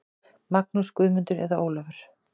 Magnús, Guðmundur eða Ólafur.